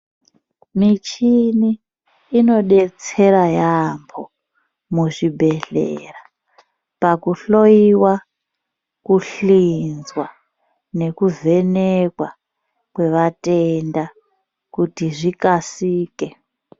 Michini inodetsera yampho muzvibhedhlera pakuhloyiwa, kuhlinzwa nekuvhenekwa kwevatenda kuti zvikasike.